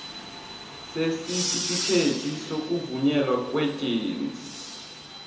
sesitifikhethi sokuvunyelwa kweejensi